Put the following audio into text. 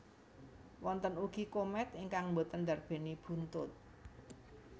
Wonten ugi komet ingkang boten ndarbéni buntut